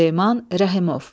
Süleyman Rəhimov.